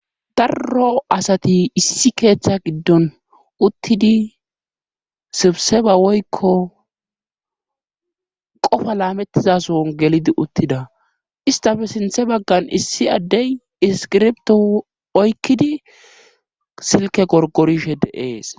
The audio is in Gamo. Darro asati issi keeththa giddon uttidi sibse ba woykko qofa laamettizason gelidi uttida istafe sinthe baggan issi addey iskirbto oykkidi silke gorgorishe deees.